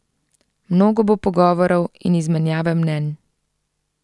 Mnogo bo pogovorov in izmenjave mnenj.